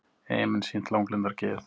Eyjamenn sýnt langlundargeð